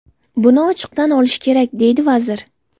Buni ochiq tan olish kerak”, deydi vazir.